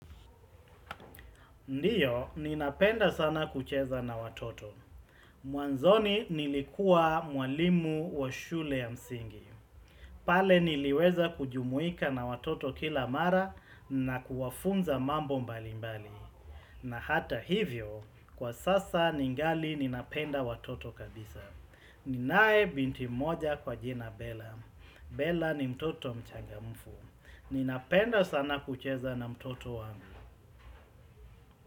Ndiyo, ninapenda sana kucheza na watoto. Mwanzoni nilikuwa mwalimu wa shule ya msingi. Pale niliweza kujumuika na watoto kila mara, na kuwafunza mambo mbali mbali. Na hata hivyo, kwa sasa ningali ninapenda watoto kabisa. Ninaye binti mmoja kwa jina Bela. Bela ni mtoto mchangamfu. Ninapenda sana kucheza na mtoto wangu.